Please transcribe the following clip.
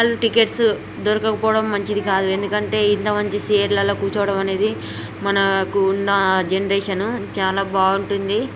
Hall tickets దొరకకపోవడం మంచిది కాదు ఎందుకంటె అంతే ఇంత మంచి సీట్ల లో కూర్చోడం అనేది మనకు వున్నా జనరేషన్ చాలా బాగుంటుంది .